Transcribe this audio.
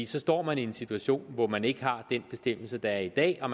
så står man i en situation hvor man ikke har den bestemmelse der er i dag og